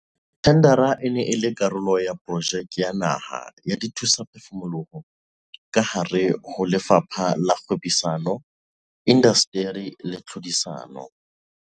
Thendara e ne e le karolo ya Projeke ya Naha ya Dithusaphefumoloho kahare ho Lefapha la Kgwebisano, Indasteri le Tlhodisano.